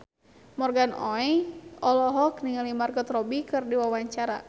Morgan Oey olohok ningali Margot Robbie keur diwawancara